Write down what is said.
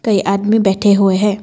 ये आदमी बैठे हुए हैं।